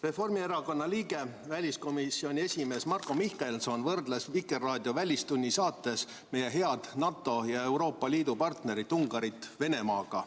Reformierakonna liige, väliskomisjoni esimees Marko Mihkelson võrdles Vikerraadio saates "Välistund" meie head NATO ja Euroopa Liidu partnerit Ungarit Venemaaga.